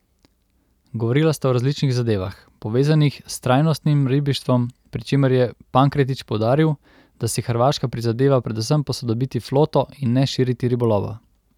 Govorila sta o različnih zadevah, povezanih s trajnostnim ribištvom, pri čemer je Pankretič poudaril, da si Hrvaška prizadeva predvsem posodobiti floto in ne širiti ribolova.